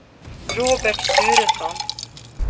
Robert Turesson